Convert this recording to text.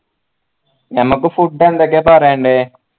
ഞമ്മക്ക് food എന്തൊക്കെയാ പറയണ്ടേ